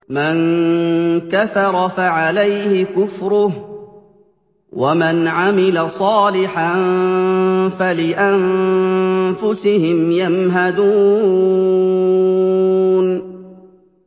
مَن كَفَرَ فَعَلَيْهِ كُفْرُهُ ۖ وَمَنْ عَمِلَ صَالِحًا فَلِأَنفُسِهِمْ يَمْهَدُونَ